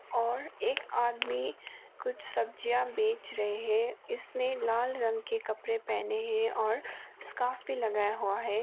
और एक आदमी कुछ सब्जियां बेच रहे इसने लाल रंग के कपड़े पहने हैं और स्कार्फ भी लगाया हुआ हैं।